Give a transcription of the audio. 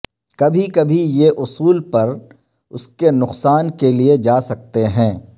کبھی کبھی یہ اصول پر اس کے نقصان کے لئے جا سکتے ہیں